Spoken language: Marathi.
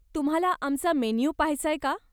तुम्हाला आमचा मेन्यू पाहायचाय का?